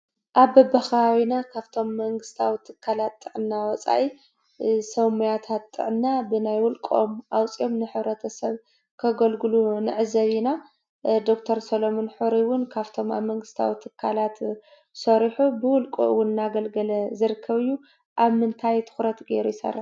ኣብ በብኸባቢና ካብቶም መንግስታዊ ትካላት ጥዕና ወፃኢ ሰብ ሞያታት ጥዕና ብናይ ውልቆም ኣውፂኦም ንሕብረተሰብ ከገልግሉ ንዕዘብ ኢና፡፡ ዶክተር ሰሎሞን ሕሩይ እውን ካብቶም ኣብ መንግስታዊ ትካላት ሰሪሑ ብውልቁ እውን እናገልገለ ዝርከብ እዩ፡፡ ኣብ ምንታይ ትኹረት ገይሩ ይሰርሕ?